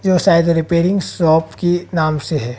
यो size repairing shop की नाम से है।